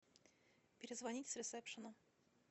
перезвонить с ресепшена